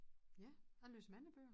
Ja jeg læser mange bøger